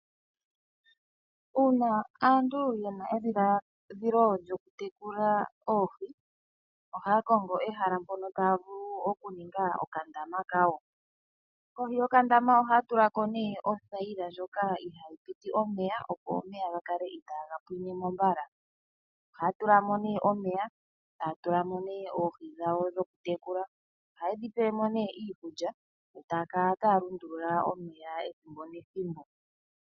Uuna aantu yena omadhiladhilo go kutekula oohi, oha kongo ehala mpoka taya vulu okuninga okandama kawo ,kohi yakandama ohatulako ne othayila ndjoka ihayi piti omeya opo omeya gakale iitagampinemo mbala, ohatulamo ne omeya taatulamo ne oohi dhawo dhokutekula ohaye dhitulilemo ne iikulya taakala taalundulula omeya ethimbo nethimbo.